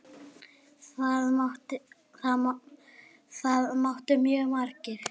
Það mættu mjög margir.